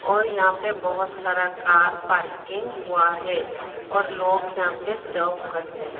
और यहां पे बहोत सारा कार पार्किंग हुआ है और लोग यहां पे जॉब करते हैं।